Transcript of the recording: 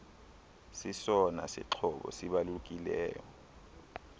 sesona sixhobo sibalulekileyo